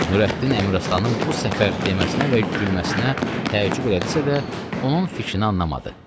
Nurəddin Əmiraslanın bu səfər deməsinə və gülməsinə təəccüb elədisə də, onun fikrini anlamadı.